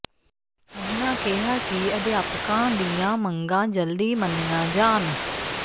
ਉਨ੍ਹਾਂ ਕਿਹਾ ਕਿ ਅਧਿਆਪਕਾਂ ਦੀਆਂ ਮੰਗਾਂ ਜਲਦੀ ਮੰਨੀਆਂ ਜਾਣ